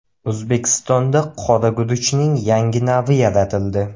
O‘zbekistonda qora guruchning yangi navi yaratildi.